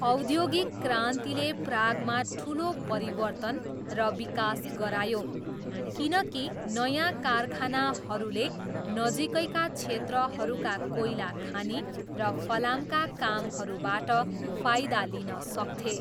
औद्योगिक क्रान्तिले प्रागमा ठुलो परिवर्तन र विकास गरायो, किनकि नयाँ कारखानाहरूले नजिकैका क्षेत्रहरूका कोइला खानी र फलामका कामहरूबाट फाइदा लिन सक्थे।